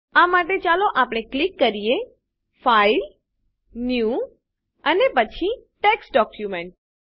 આ માટે ચાલો આપણે ક્લિક કરીએ ફાઇલ ન્યૂ અને પછી ટેક્સ્ટ ડોક્યુમેન્ટ